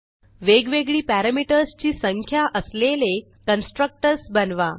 वेगवेगळी पॅरामीटर्स ची संख्या असलेले कन्स्ट्रक्टर्स बनवा